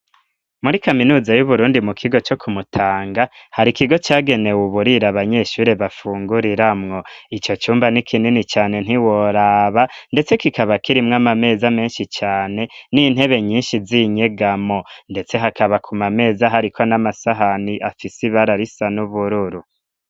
Muri kaminuza y'uburundi mu kigo co kumutanga, hari ikigo cagenewe uburiro abanyeshuri bafunguriramwo, ico cumba n'ikinini cane ntiworaba ndetse kikaba kirimwo amameza menshi cane n'intebe nyinshi z'inyegamo ndetse hakaba ku mameza hariko n'amasahani afise ibara risa n'ubururu.